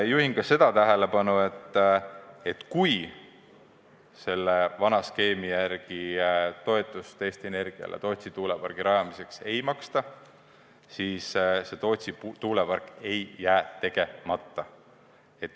Juhin ka sellele tähelepanu, et kui vana skeemi järgi toetust Eesti Energiale Tootsi tuulepargi rajamiseks ei maksta, siis Tootsi tuulepark ei jää tegemata.